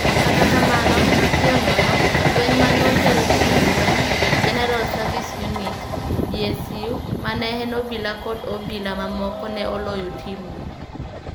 Kata kamano, mapiyo nono, jolweny ma ne otel gi jolweny, General Service Unit (GSU) ma ne en obila kod obila mamoko ne oloyo timno.